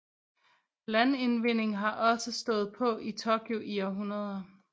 Landindvinding har også stået på i Tokyo i århundreder